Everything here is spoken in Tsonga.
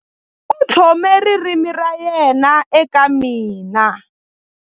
U tlhome ririmi ra yena eka mina.